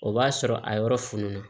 O b'a sɔrɔ a yɔrɔ fununna